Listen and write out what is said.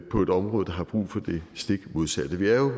på et område der har brug for det stik modsatte vi er